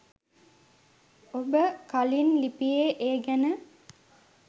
ඔබ කලින් ලිපියේ ඒ ගැන